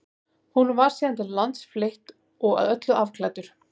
honum var síðan til lands fleytt og að öllu afklæddur